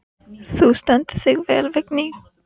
Þú stendur þig vel, Vigný!